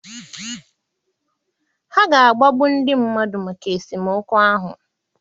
Ha ga-agbagbu ndị mmadụ maka esemokwu ahụ.